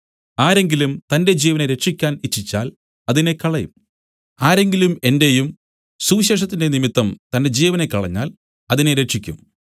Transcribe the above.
ആരെങ്കിലും തന്റെ ജീവനെ രക്ഷിക്കാൻ ഇച്ഛിച്ചാൽ അതിനെ കളയും ആരെങ്കിലും എന്റെയും സുവിശേഷത്തിന്റെയും നിമിത്തം തന്റെ ജീവനെ കളഞ്ഞാൽ അതിനെ രക്ഷിക്കും